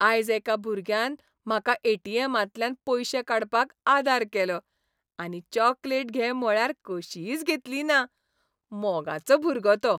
आयज एका भुरग्यान म्हाका ए.टी.एमा तल्यान पयशे काडपाक आदार केलो आनी चॉकलेट घे म्हळ्यार कशींच घेतली ना. मोगाचो भुरगो तो.